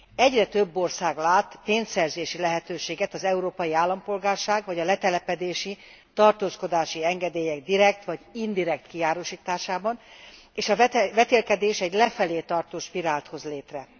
Egyre több ország lát pénzszerzési lehetőséget az európai állampolgárság vagy a letelepedési, tartózkodási engedélyek direkt vagy indirekt kiárusításában és a vetélkedés egy lefelé tartó spirált hoz létre.